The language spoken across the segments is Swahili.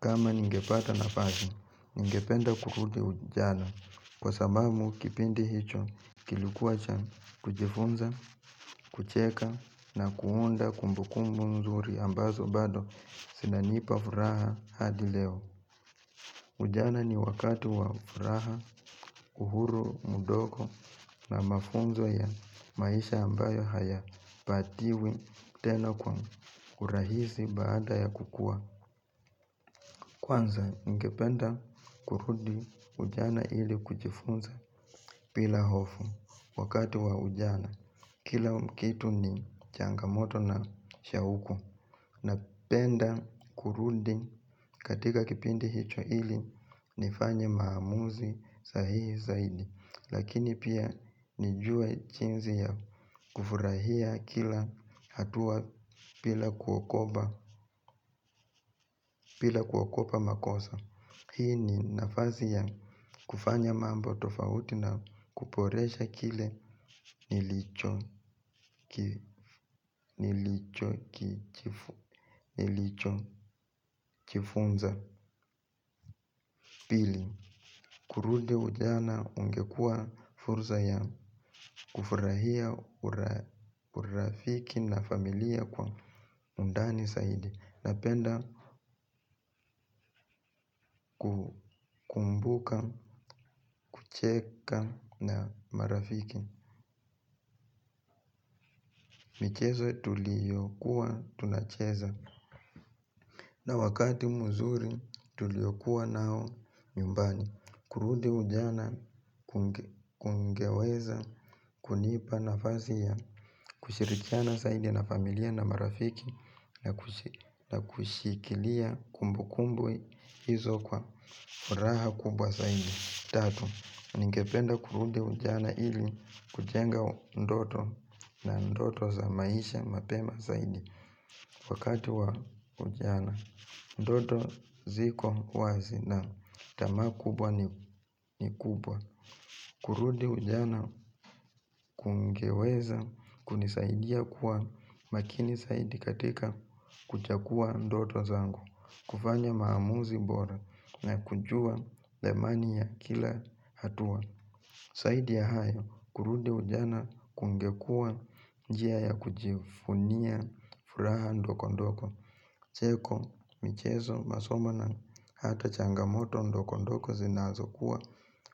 Kama ningepata nafasi, ningependa kurudi ujana kwa sababu kipindi hicho kilikuwa cha kujifunza, kucheka na kuunda kumbukumbu nzuri ambazo bado zinanipa furaha hadi leo. Ujana ni wakati wa furaha, uhuru mdogo na mafunzo ya maisha ambayo hayapatiwi tena kwa urahisi baada ya kukua. Kwanza ningependa kurudi ujana ili kujifunza bila hofu wakati wa ujana kila kitu ni changamoto na shauku napenda kurudi katika kipindi hicho ili nifanye maamuzi sahihi zaidi lakini pia nijue jinsi ya kufurahia kila hatua bila kuogopa makosa hii ni nafasi ya kufanya mambo tofauti na kuboresha kile nilichojifunza. Pili, kurudi ujana ungekuwa fursa ya kufurahia urafiki na familia kwa undani zaidi. Napenda kukumbuka, kucheka na marafiki michezo tuliyokuwa tunacheza na wakati mzuri tuliyokuwa nao nyumbani. Kurudi ujana kungeweza kunipa nafasi ya kushirikiana zaidi na familia na marafiki na kushikilia kumbukumbu hizo kwa furaha kubwa zaidi. Tatu, ningependa kurudi ujana ili kujenga ndoto na ndoto za maisha mapema zaidi wakati wa ujana. Ndoto ziko wazi na tamaa kubwa ni kubwa. Kurudi ujana kungeweza kunisaidia kuwa makini zaidi katika kuchagua ndoto zangu. Kufanya maamuzi bora na kujua thamani ya kila hatua. Zaidi ya hayo kurudi ujana kungekuwa njia ya kujivunia furaha ndogondogo cheko, michezo, masomo na hata changamoto ndogondogo zinazokuwa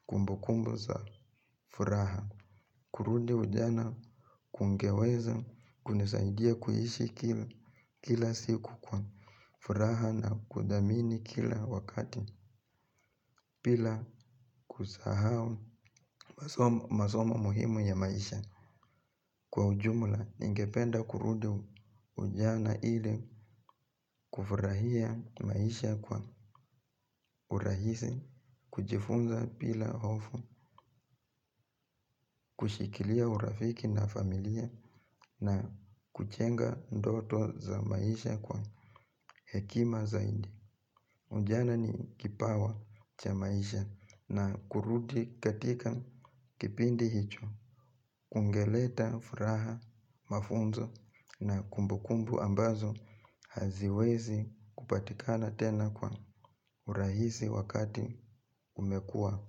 kumbukumbu za furaha kurudi ujana kungeweza kunisaidia kuhishi kila siku kwa furaha na kudhamini kila wakati bila kusahau masomo masomo muhimu ya maisha. Kwa ujumla, ningependa kurudi ujana ili kufurahia maisha kwa urahisi, kujifunza bila hofu, kushikilia urafiki na familia na kujenga ndoto za maisha kwa hekima zaidi. Ujana ni kipawa cha maisha na kurudi katika kipindi hicho, kungeleta furaha, mafunzo na kumbukumbu ambazo haziwezi kupatikana tena kwa urahisi wakati umekua.